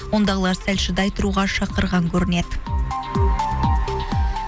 ондығылар сәл шыдай тұруға шақырған көрінеді